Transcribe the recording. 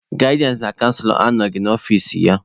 Gaịdịansị na canselọ anọghị n'ọfici ya.